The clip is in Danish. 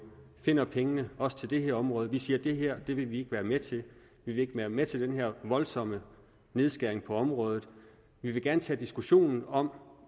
finder pengene også til det her område vi siger at det her vil vi ikke være med til vi vil ikke være med til den her voldsomme nedskæring på området vi vil gerne tage diskussionen om